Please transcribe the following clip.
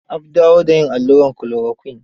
Ab dawo da yin allurat chloroquine.